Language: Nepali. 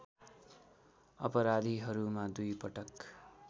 अपराधीहरूमा दुई पटक